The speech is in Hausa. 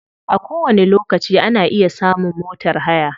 A kowani lokaci ana iya samun motar haya.